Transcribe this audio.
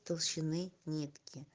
толщины нитки